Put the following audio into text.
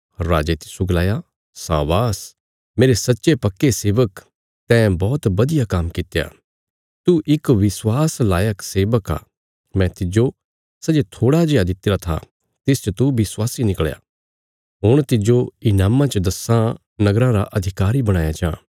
राजे तिस्सो गलाया शाबाश मेरे सच्चे पक्के सेबक तैं बौहत बधिया काम्म कित्या तू इक विश्वास लायक सेबक आ मैं तिज्जो सै जे थोड़ा जेआ दित्तिरा था तिसच तू विश्वासी निकल़या हुण तिज्जो ईनामा च दस्सां नगराँ रा अधिकारी बणाया जां